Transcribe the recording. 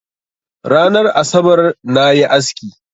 Ranar asabar na yi aski.